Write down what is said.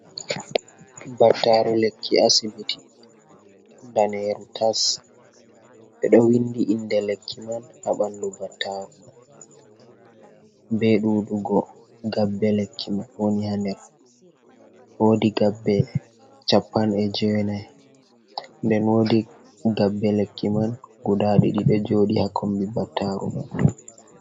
Battaru lekki asibiti, nɗaneru tas, ɓeɗo windi inde lekki man ha ɓandu battaru man, ɓe ɗuɗu go gaɓɓe lekki mai woni ha nder wodi gaɓɓe chappan e jenai, nden wodi gaɓɓe lekki man guda ɗiɗi ɗo joɗi ha kombi battaru man.